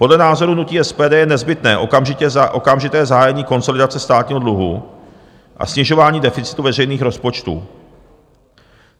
Podle názoru hnutí SPD je nezbytné okamžité zahájení konsolidace státního dluhu a snižování deficitu veřejných rozpočtů.